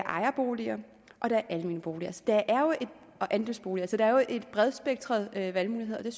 ejerboliger og der er andelsboliger så der er jo et bredt spektrum af valgmuligheder